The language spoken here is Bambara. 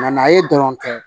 n'a ye dɔrɔn kɛ